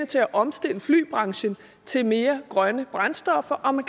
til at omstille flybranchen til mere grønne brændstoffer og man